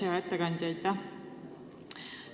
Hea ettekandja, aitäh!